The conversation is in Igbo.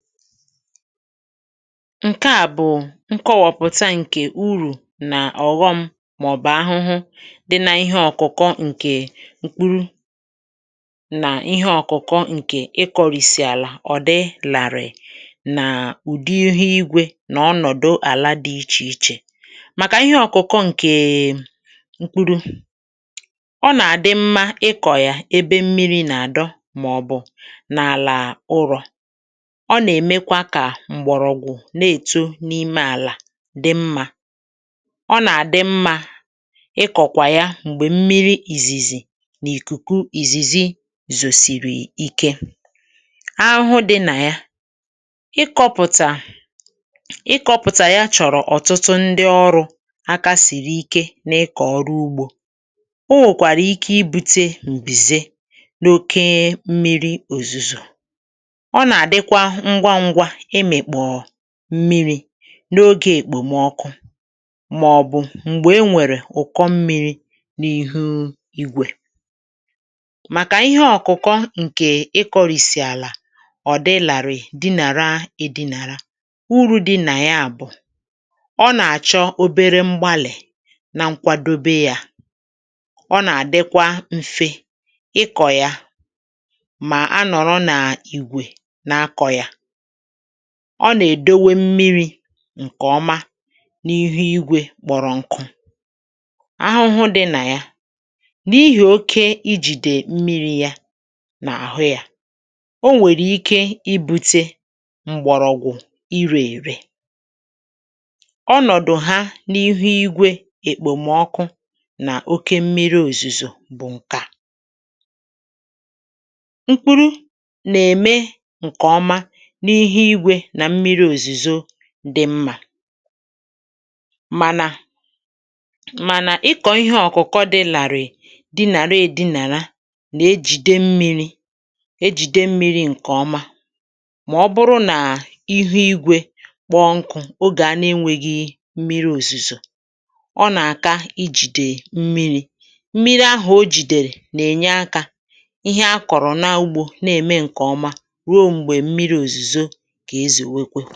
ǹke à bụ̀ nkọwọ̀pụ̀ta ǹkè urù nà ọ̀ghọm màọbụ̀ ahụhụ dị n’ihe ọ̀kụ̀kọ̀ ǹkè mkpuru nà ihe ọ̀kụ̀kọ ǹkè ịkọ̇rìsì àlà ọ̀ dị làrị̀ nà ụ̀dị ihu igwė nà ọnọ̀dụ àla dị ichè ichè màkà ihe ọ̀kụ̀kụ̀ ǹkè mkpuru ọ nà-àdị mmȧ ịkọ̀ yà ebe mmiri̇ nà-àdọ màọbụ̀ nà àlà ụrọ̇. Ọ na-emekwa ka mgbọrọgwụ na-èto n’ime àlà dị mmȧ ọ nà-àdị mmȧ ịkọ̀kwà ya m̀gbè mmiri ìzìzì n’ìkùkù ìzìzì zòsìrì ike ahụhụ dị nà ya ịkọ̇pụ̀tà ịkọ̇pụ̀tà ya chọ̀rọ̀ ọ̀tụtụ ndị ọrụ̇ aka siri ike na-ịkọ̀ ọrụ ugbȯ o nwèkwàrà ike ibu̇tė m̀bìze n’okė mmiri òzùzò, ọ na adịkwa ngwá ngwá ịmị̀kpọ̀ mmịrị̇ n’oge èkpòmọkụ màọbụ̀ m̀gbè e nwèrè ụ̀kọ mmịrị̇ n’ihu igwè màkà ihe ọ̀kụ̀kọ ǹkè ịkọ̇rìsì àlà ọ̀ dịlàrị̀ di nàra ọdilàrị uru̇ di nà ya bụ̀ ọ nà-àchọ obere mgbalì na nkwadobe yȧ ọ nà-àdịkwa mfe ịkọ̇ ya mà a nọ̀rọ nà ìgwè na-akọ̇ yȧ ọ nà-èdowe mmiri ǹkè ọma n’ihu igwė kpọrọ nku ahụhụ dị nà ya n’ihì oke ijìdè mmiri̇ ya n’àhụ ya o nwèrè ike ibu̇tė mgbọ̀rọ̀gwụ̀ irė ère ọnọ̀dụ̀ ha n’ihu igwė èkpòmọkụ nà oke mmiri òzùzò bụ̀ ǹke à, ikpuru na-eme nke ọma n'ihe ígwè na mmiri òzùzò dị̀ mmȧ mànà mànà ị kọ̀ ihe ọ̀kụ̀kọ dị làrị̀ di nà redinàla nà ejìde mmi̇ri̇ ejìde mmi̇ri̇ ǹkè ọma mà ọ bụrụ nà ihu igwė kpọọ nkụ ogè a nà-enwėghi̇ mmiri òzùzò ọ nà-àka i jìdè mmiri̇ mmiri ahụ̀ o jìdèrè nà-ènye akȧ ihe a kọ̀rọ̀ na-agbȯ na-ème ǹkè ọma ruo m̀gbè mmiri òzùzò ǹkè ezì nwekwe